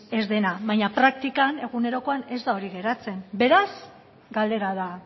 ez dena baina praktikan egunerokoan ez da hori geratzen beraz galdera da